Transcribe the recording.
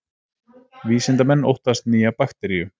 Vísindamenn óttast nýja bakteríu